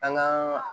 An gaa